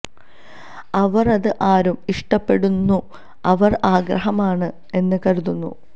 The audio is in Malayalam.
അവർ അത് ആരും ഇഷ്ടപ്പെടുന്നു അവർ ആഗ്രഹമാണ് എന്ന് കരുതുന്നു